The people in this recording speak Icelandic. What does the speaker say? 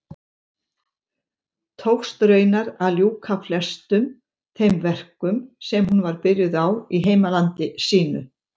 Tókst raunar að ljúka flestum þeim verkum sem hún var byrjuð á í heimalandi sínu.